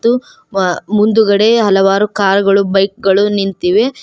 ತ್ತು ಮ ಮುಂದ್ಗಡೆ ಹಲವಾರು ಕಾರ್ ಗಳು ಬೈಕ್ ಗಳು ನಿಂತಿವೆ.